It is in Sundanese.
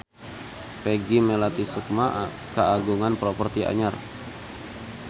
Peggy Melati Sukma kagungan properti anyar